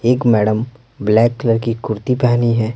एक madam black colour की कुर्ती पहनी है।